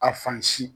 A fan si